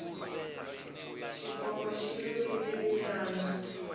xiphongo xi lumile mbyana